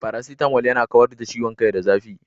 Paracetamol yana kawar da ciwon kai da zafi.